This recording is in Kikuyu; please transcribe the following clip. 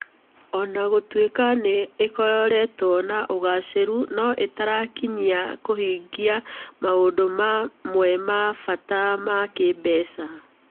O na gũtuĩka nĩ ĩkoretwo na ũgaacĩru, no ĩtarakinyia kũhingia maũndũ mamwe ma bata ma kĩĩmbeca.